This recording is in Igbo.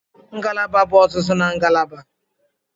Ngalaba bụ ọzụzụ na ngalaba.